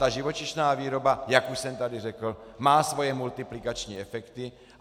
Ta živočišná výroba, jak už jsem tady řekl, má svoje multiplikační efekty.